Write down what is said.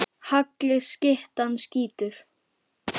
Hagli skyttan skýtur.